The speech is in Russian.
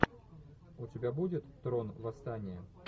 у тебя будет трон восстание